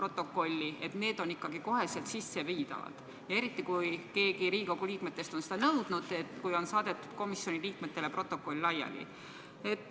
Need viiakse ikka kohe sisse, eriti kui keegi Riigikogu liikmetest on seda nõudnud, pärast seda kui protokoll on komisjoni liikmetele laiali saadetud.